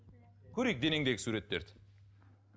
көрейік денеңдегі суреттерді